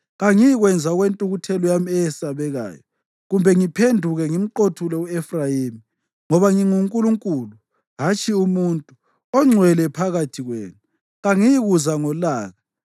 Kangiyikwenza okwentukuthelo yami eyesabekayo, kumbe ngiphenduke ngimqothule u-Efrayimi. Ngoba nginguNkulunkulu, hatshi umuntu, oNgcwele phakathi kwenu. Kangiyikuza ngolaka.